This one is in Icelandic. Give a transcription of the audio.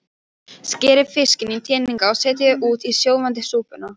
Skerið fiskinn í teninga og setjið út í sjóðandi súpuna.